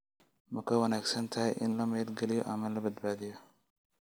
Ma ka wanaagsan tahay in la maalgeliyo ama la badbaadiyo?